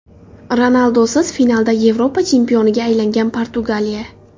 Ronaldusiz finalda Yevropa chempioniga aylangan Portugaliya.